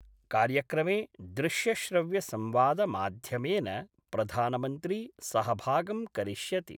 कार्यक्रमे दृश्यश्रव्यसंवादमाध्यमेन प्रधानमन्त्री सहभागं करिष्यति।